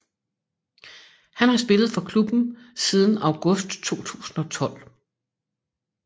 Han har spillet for klubben siden august 2012